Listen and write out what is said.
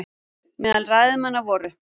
Meðal ræðumanna voru